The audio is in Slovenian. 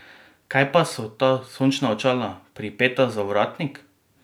Kaj pa so ta sončna očala, pripeta za ovratnik?